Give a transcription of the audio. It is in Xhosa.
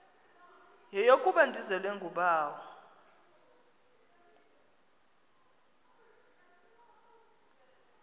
yeyokuba ndizelwe ngubawo